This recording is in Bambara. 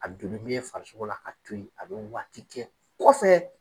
A dulu min ye farisogo la ka to ye a bɛ waati kɛ o kɔfɛ.